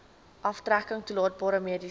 aftrekking toelaatbare mediese